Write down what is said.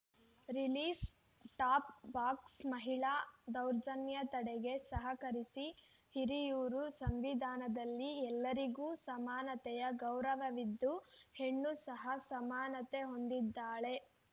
release top box ಮಹಿಳಾ ದೌರ್ಜನ್ಯ ತಡೆಗೆ ಸಹಕರಿಸಿ ಹಿರಿಯೂರು ಸಂವಿಧಾನದಲ್ಲಿ ಎಲ್ಲರಿಗೂ ಸಮಾನತೆಯ ಗೌರವವಿದ್ದು ಹೆಣ್ಣು ಸಹ ಸಮಾನತೆ ಹೊಂದಿದ್ದಾಳೆ